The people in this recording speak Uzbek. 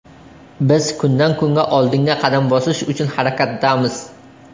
Biz kundan-kunga oldinga qadam bosish uchun harakatdamiz.